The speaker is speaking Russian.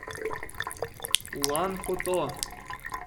улан хото